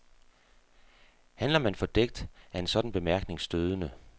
Handler man fordækt, er en sådan bemærkning stødende.